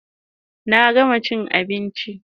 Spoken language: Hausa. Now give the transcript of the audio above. Na gama chin abinchin